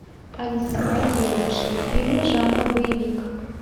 алиса найди лучшие фильмы жанра боевик